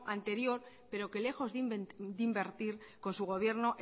anterior pero que lejos de invertir con su gobierno